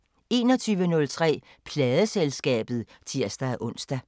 21:03: Pladeselskabet (tir-ons)